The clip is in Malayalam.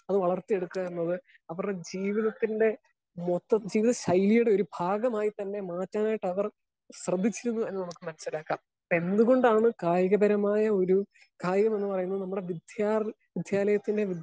സ്പീക്കർ 1 അത് വളർത്തിഎടുക്കുക എന്നത് അവരുടെ ജീവിതത്തിന്റെ മൊത്തത്തിൽ ശൈലിയുടെ ഒരു ഭാഗമായിട്ട് തന്നെ മാറ്റാനായിട്ട് അവർ പ്രതീക്ഷിക്കുന്നു എന്ന് നമുക്ക് മനസിലാക്കാം. എന്ത് കൊണ്ടാണ് കായികപരമായ ഒരു കായികമെന്ന് പറയുന്നത് നമ്മുടെ വിദ്യാലയ വിദ്യാലയത്തിന്റെ